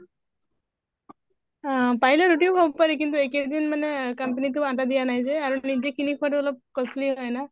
আহ পাৰিলে ৰুতিও খাব পাৰি কিন্তু এই কেইদিন মানে company টোয়ে আটা দিয়া নাই যে আৰু নিজে কিনি খোৱাতো অলপ costly হয় যে।